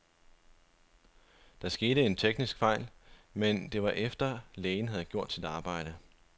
Der skete en teknisk fejl, men det var efter, lægen havde gjort sit arbejde.